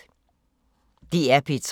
DR P3